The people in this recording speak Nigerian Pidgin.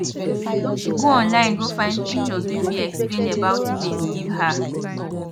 she go online go find pictures wey fit explain about maize give her